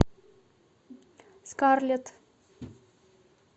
скарлетт